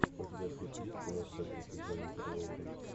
у тебя в списке есть кино с актрисой дженнифер лоуренс